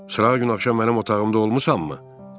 Srağagün axşam mənim otağımda olmusanmı?